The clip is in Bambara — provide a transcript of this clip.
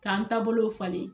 K'an taabolow falen